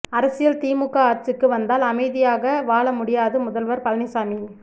அரசியல் திமுக ஆட்சிக்கு வந்தால் அமைதியாக வாழ முடியாது முதல்வர் பழனிசாமி